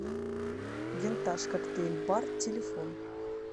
винтаж коктейль бар телефон